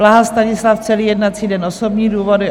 Blaha Stanislav - celý jednací den, osobní důvody;